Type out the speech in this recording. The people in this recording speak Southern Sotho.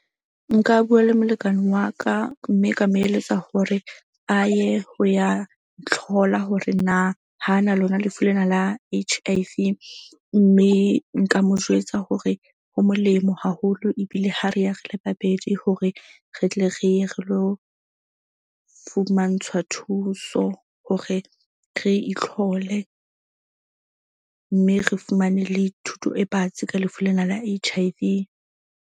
Nka bua le molekane wa ka mme ka mo eletsa hore a ye ho ya ntlhola hore na ha na lona lefu lena la H_I_V. Mme nka mo jwetsa hore ho molemo haholo ebile ha re ya re le babedi hore re tle re ye re lo fumantshwa thuso. Hore re itlhole, mme re fumane le thuto e batsi ka lefu lena la H_I_V.